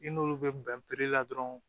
Ni n'olu bɛ bɛn la dɔrɔn